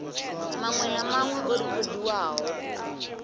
maṅwe na maṅwe o rekhodiwaho